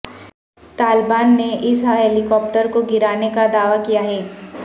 طالبان نے اس helicopter کو گرانے کا دعوی کیا ہے